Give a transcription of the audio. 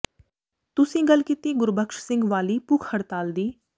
ਤੁਸੀਂ ਗਲ ਕੀਤੀ ਗੁਰਬਖਸ਼ ਸਿੰਘ ਵਾਲੀ ਭੁੱਖ ਹੜਤਾਲ ਦੀ